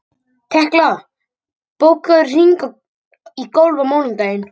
Tekla, bókaðu hring í golf á mánudaginn.